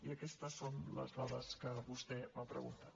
i aquestes són les dades que vostè m’ha preguntat